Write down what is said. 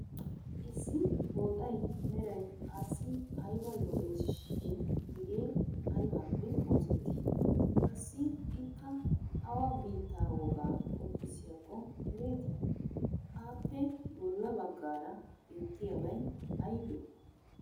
Issi pooxay meray assi ayba lo'eesishin hegew aybaappe oosettii? Qassi ikka awa biittaa wogaa qonccissiyakko ereetii? Appe bolla baggaara beettiyabay aybee?